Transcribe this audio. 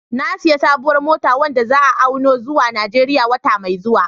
Na sayi sabuwar mota wadda za'a auno zuwa Najeriya wata mai zuwa